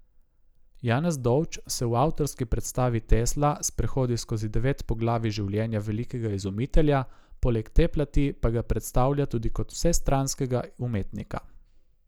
Janez Dovč se v avtorski predstavi Tesla sprehodi skozi devet poglavij življenja velikega izumitelja, poleg te plati pa ga predstavlja tudi kot vsestranskega umetnika.